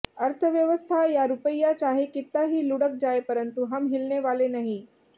अर्थव्यवस्था या रुपइया चाहे कित्ता ही लुढ़क जाए परंतु हम हिलने वाले नहीं